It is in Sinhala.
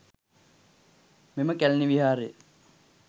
මෙම කැලණි විහාරය